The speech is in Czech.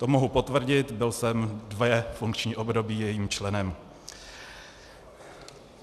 To mohu potvrdit, byl jsem dvě funkční období jejím členem.